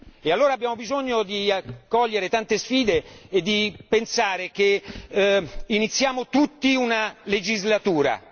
E allora abbiamo bisogno di cogliere tante sfide e di pensare che iniziamo tutti una legislatura.